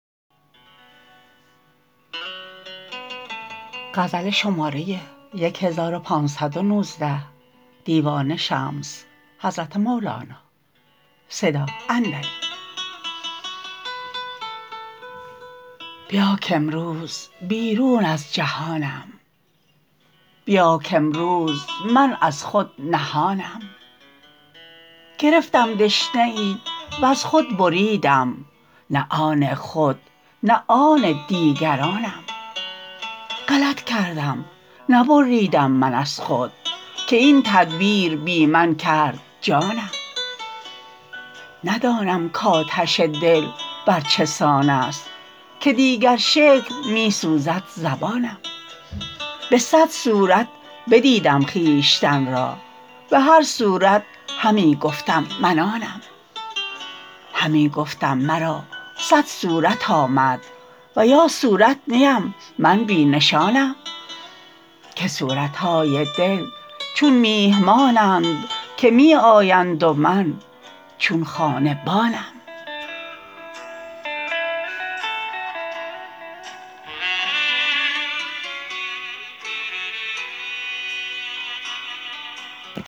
بیا کامروز بیرون از جهانم بیا کامروز من از خود نهانم گرفتم دشنه ای وز خود بریدم نه آن خود نه آن دیگرانم غلط کردم نبریدم من از خود که این تدبیر بی من کرد جانم ندانم کآتش دل بر چه سان است که دیگر شکل می سوزد زبانم به صد صورت بدیدم خویشتن را به هر صورت همی گفتم من آنم همی گفتم مرا صد صورت آمد و یا صورت نی ام من بی نشانم که صورت های دل چون میهمانند که می آیند و من چون خانه بانم